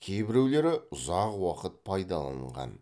кейбіреулері ұзақ уақыт пайдаланылған